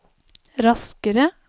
raskere